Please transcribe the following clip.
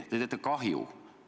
Te teete kahju!